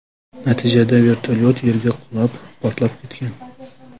Natijada vertolyot yerga qulab, portlab ketgan.